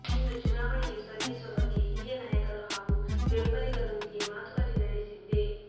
ಇನ್ನು ಚುನಾವಣೆಗೆ ಸ್ಪರ್ಧಿಸುವ ಬಗ್ಗೆ ಹಿರಿಯ ನಾಯಕರು ಹಾಗೂ ಬೆಂಬಲಿಗರೊಂದಿಗೆ ಮಾತುಕತೆ ನಡೆಸಿದ್ದೆ